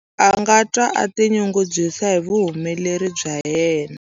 A nga twa a tinyungubyisa hi vuhumeleri bya yena.